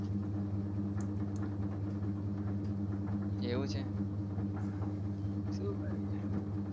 એવું છે? શું કરીએ?